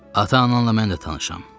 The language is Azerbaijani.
Ata-ananla mən də tanışam.